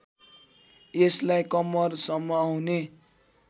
यसलाई कम्मरसम्म आउने